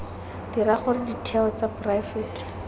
dira gore ditheo tsa poraefete